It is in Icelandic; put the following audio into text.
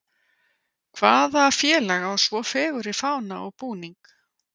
Hvaða félag á svo fegurri fána og búning?